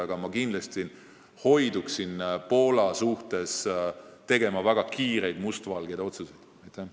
Aga ma kindlasti hoidun Poola suhtes väga kiirete mustvalgete otsuste tegemisest.